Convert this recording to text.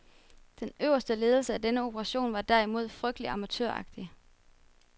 Den øverste ledelse af denne operation var derimod frygtelig amatøragtig.